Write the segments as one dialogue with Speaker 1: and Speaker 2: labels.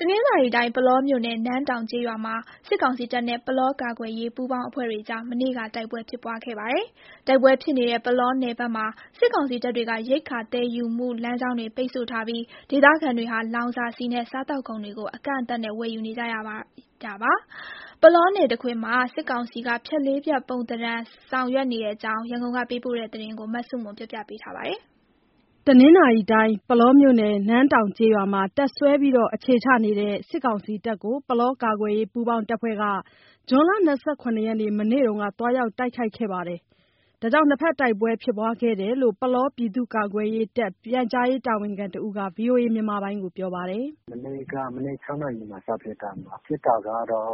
Speaker 1: တနင်္သာရီတိုင်း ပုလောမြို့နယ် နန်းတောင်ကျေးရွာမှာ စစ်ကောင်စီတပ်နဲ့ ပုလောကာကွယ်ရေးပူးပေါင်းအဖွဲ့တွေကြား မနေ့က တိုက်ပွဲဖြစ်ပွားခဲ့ပါတယ်။ တိုက်ပွဲဖြစ်နေတဲ့ ပုလောနယ်တွေဘက် စစ်ကောင်စီတပ်တွေက ရိက္ခာသယ်ယူမှုလမ်းကြောင်းတွေ ပိတ်ဆို့ထားပြီး ဒေသခံတွေဟာ လောင်စာဆီနဲ့ စားသောက်ကုန်တွေကို အကန့်အသတ်နဲ့ ဝယ်ယူနေကြရပါတယ်။ ပုလောနယ်တခွင် စစ်ကောင်စီက ဖြတ်လေးဖြတ် ပုံဏ္ဍာန်ဆောင်ရွက်နေတဲ့အကြောင်း ရန်ကုန်ကပေးပို့တဲ့သတင်း မဆုမွန်က တင်ပြပေးထားပါတယ်။
Speaker 2: ပုလောမြို့နယ် နန်းတောင်ကျေးရွာမှာ တပ်စွဲနေထိုင်တဲ့ စစ်ကောင်စီတပ်တွေကို ပုလောကာကွယ်ရေး ပူးပေါင်းအဖွဲ့က ဇွန်လ ၂၇ ရက်၊ မနေ့က သွားရောက်တိုက်ခိုက်ခဲ့ပြီး နှစ်ဘက်တိုက်ပွဲဖြစ်ပွားခဲ့တယ်လို့ ပုလော ပြည်သူ့ကာကွယ်ရေးတပ် ပြန်ကြားရေးတာဝန်ခံတဦးက ဗွီအိုအေကို ပြောပါတယ်။ “မနေ့က မ
Speaker 3: နေ့ ၆ နာရီမှာ စဖြစ်တာ၊ ရွာ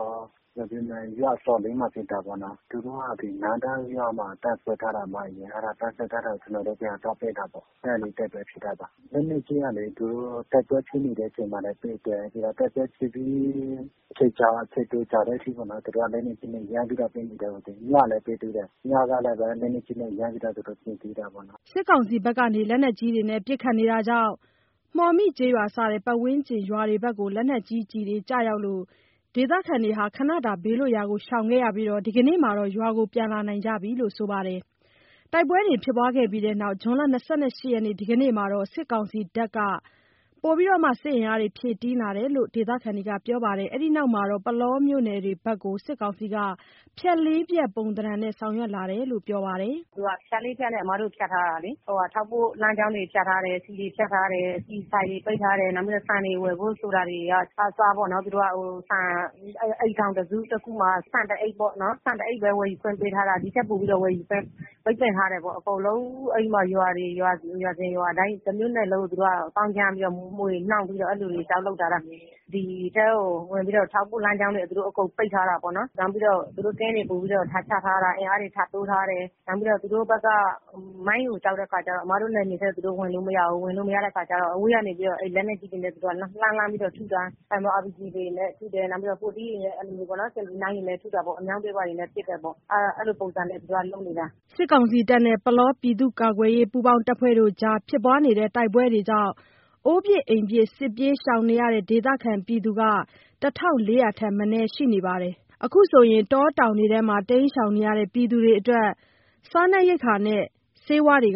Speaker 3: အစွန်လးမှာ ဖြစ်တာပေါ့နော်။ သူတို့က ဒီနန်းတောင်ရွာမှာ တပ်စွဲထားတာ။ အဲ့ဒါ ကျနော်တို့ ပြန်သွားပစ်တာပေါ့၊ အဲ့ကနေတိုက်ပွဲဖြစ်တာပါ။ လက်နက်ကြီးကလေ သူတို့ တိုက်ပွဲဖြစ်နေတဲ့အချိန်မှာလည်း ပစ်တယ်။ တိုက်ပွဲဖြစ်ပြီး အချိန်တော်တော်ကြာတဲ့အထိပေါ့နော်- သူတို့က လက်နက်ကြီးနဲ့ ရမ်းပြီးတော့ ပစ်နေတယ်။ ညကလည်းပဲ လက်နက်ကြီးနဲ့ ရမ်းပြီးတော့ သူတို့ပစ်သေးတာပေ့ါနော်
Speaker 2: ။” စစ်ကောင်စီဘက်က လက်နက်ကြီးတွေနဲ့ ပစ်ခတ်တာကြောင့် မှော်မိကျေးရွာ စတဲ့ ပတ်ဝန်းကျင်ရွာတွေဘက် လက်နက်ကြီးကျရောက်လို့ ဒေသခံတွေ ခဏတာ ဘေးလွတ်ရာကို ရှောင်ခဲ့ရပြီး ဒီကနေ့မှာ ရွာကို ပြန်လာနိုင်ကြပြီလို့ ပြောပါတယ်။ တိုက်ပွဲဖြစ်ပြီးတဲ့နောက် ဇွန်လ ၂၈ ရက် ဒီကနေ့မှာ စစ်ကောင်စီတပ်တွေ အင်အား ဖြည့်တင်းလာတယ်လို့ ဒေသခံတွေကပြောပါတယ်။ အဲဒီနောက်မှာတော့ ပုလောမြို့နယ်တွေဘက်ကို စစ်ကောင်စီက ဖြတ်လေးဖြတ်ပုံသဏ္ဍာန်နဲ့ဆောင် ရွက်လာတယ်လို့လည်း ပြောပါတယ်။ “
Speaker 4: သူက ဖြတ်လေးဖြတ်နဲ့ အမတို့ကို ဖြတ်ထားတာလေ။ ထောက်ပို့လမ်းကြောင်းတွေ ဖြတ်ထားတယ်။ ဆီတွေ ဖြတ်ထားတယ်။ ဆီဆိုင်တွေ ပိတ်ထားတယ်။ နောက်ပြီးတော့ ဆန်တွေ ဝယ်ဖို့ဆိုတာတွေကအစပေါ့နော်၊ သူတို့က အိမ်ထောင်တစုမှာ ဆန်တအိတ်ပေါ့နော်၊ ဆန်တအိတ်ပဲ ဝယ်ခွင့် ပေးထားတာ။ ဒီထက်ပိုပြီးတော့ ဝယ်ယူခွင့် ပိတ်ပင်ထားတယ်ပေ့ါ။ အကုန်လုံး ရွာစဉ်ရွာတိုင်း တမြို့နယ်လုံးကို သူတို့က သောင်းကျန်းပြီးတော့၊ မွှေနှောက်ပြီးတော့ အဲ့လိုတွေလုပ်ထားတာ။ ဒီထဲကို ဝင်ပြီးတော့ ထောက်ပို့လမ်းကြောင်းတွေ သူတို့အကုန်ပိတ်ထားတာပေါ့နော်။ နောက်ပြီးတော့ သူတို့ကင်းတွေ ပိုပြီးတော့ ချထားတာ။ အင်အားတွေ ထပ်တိုးထားတယ်။ နောက်ပြီးတော့ သူတို့ဘက် မိုင်းကို ကြောက်တဲ့အခါကျတော့ အမတို့ နယ်မြေထဲ သူတို့ဝင်လို့မရဘူး။ ဝင်လို့မရတဲ့အခါကျတော့ အဝေးကနေပြီးတော့ အဲ့လက်နက်ကြီးနဲ့ သူတို့က လှမ်းလှမ်းပြီးတော့ ထုတာ။ RPG တွေနဲ့ ထုတယ်။ နောက်ပြီးတော့ 40 တွေနဲ့ အဲ့လိုမျိုးပေါ့နော်။ 79 တွေလည်း ထုတာပေါ့။ အမြောက်တွေနဲ့လည်း ပစ်တယ်ပေါ့။ အဲ့လိုပုံစံနဲ့ သူက လုပ်နေတာ။
Speaker 2: ” စစ်ကောင်စီတပ်နဲ့ ပုလောကာကွယ်ပူးပေါင်းအဖွဲ့တွေကြား တိုက်ပွဲကြောင့် အိုးပစ်အိမ်ပစ် စစ်ရှောင်နေရတဲ့ ဒေသခံ ၁,၄၀၀ ထက် မနည်းရှိနေပြီး အခုဆိုရင် တောတောင်တွေထဲ တိမ်းရှောင်နေတဲ့ သူတွေအတွက် အစားအသောက်၊ ဆေးဝါးတွေ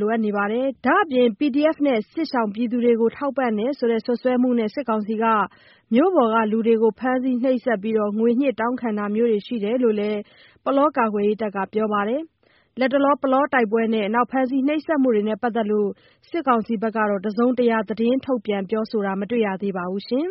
Speaker 2: လိုအပ်နေပါတယ်။ ဒါအပြင် PDF နဲ့ စစ်ရှောင်တွေကို ထောက်ပံ့တယ်ဆိုတဲ့ စွပ်စွဲမှုနဲ့ စစ်ကောင်စီက မြို့ပေါ်ကလူတွေကို ဖမ်းဆီးနှိပ်စက်ပြီး ငွေညှစ်တောင်းခံတာမျိုးရှိတယ်လို့ ပုလောကာကွယ်ရေးတပ်က ပြောပါတယ်။ လတ်တလော ပုလောတိုက်ပွဲနဲ့ ဖမ်းဆီးနှိပ်စက်မှုနဲ့ ပတ်သက်လို့ စစ်ကောင်စီဘက်က တစုံတရာထုတ်ပြန် ပြောဆိုတာမျိုး မတွေ့ရသေးပါဘူး။